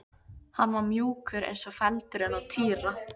Hann var mjúkur eins og feldurinn á Týra.